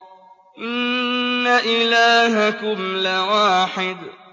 إِنَّ إِلَٰهَكُمْ لَوَاحِدٌ